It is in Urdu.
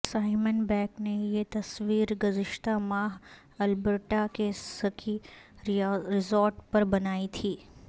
سائمن بیک نے یہ تصویر گذشتہ ماہ البرٹا کے سکی ریزارٹ پر بنائی تھی